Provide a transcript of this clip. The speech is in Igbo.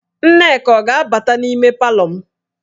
Nneka ọ ga-abata n'ime palọ m?